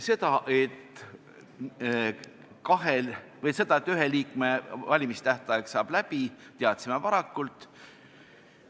Seda, et ühe liikme volituste tähtaeg saab läbi, teadsime varakult.